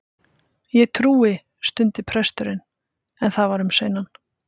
Ég trúi. stundi presturinn, en það var um seinan.